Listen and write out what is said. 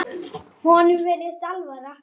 Honum virðist alvara.